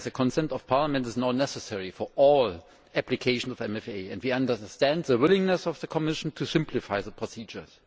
The consent of Parliament is now necessary for all applications of the MFA, and we understand the willingness of the Commission to simplify the procedures.